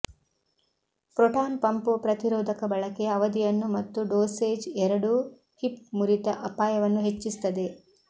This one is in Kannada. ಪ್ರೋಟಾನ್ ಪಂಪ್ ಪ್ರತಿರೋಧಕ ಬಳಕೆಯ ಅವಧಿಯನ್ನು ಮತ್ತು ಡೋಸೇಜ್ ಎರಡೂ ಹಿಪ್ ಮುರಿತ ಅಪಾಯವನ್ನು ಹೆಚ್ಚಿಸುತ್ತದೆ